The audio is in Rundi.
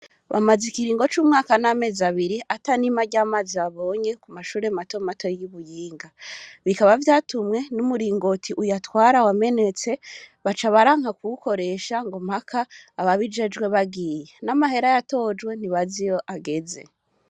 Bamaze ikiringo c'umwaka n'amezi abiri ata n'ima ry'amazi babonye ku mashure matomato y'i Muyinga bikaba vyatumwe n'umuringoti uyatwara wamenetse baca baranka kuwukoresha ngo mpaka ababijejwe bagiye n'amahera yatojwe ntibazi iyo ageze